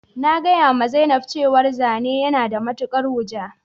Na gaya ma zainab cewa zane yana da matukar wuja